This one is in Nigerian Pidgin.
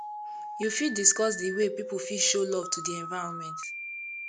you fit dicuss di way people fit show love to di environment